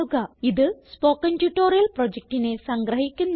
ഇത് spoken tutorial പ്രൊജക്റ്റിനെ സംഗ്രഹിക്കുന്നു